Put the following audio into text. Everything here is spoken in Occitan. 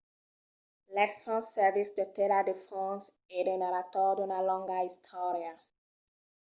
l'esfinx servís de tela de fons e de narrador d'una longa istòria